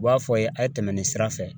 U b'a fɔ a ye, a ye tɛmɛ nin sira fɛ.